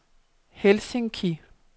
Helsinki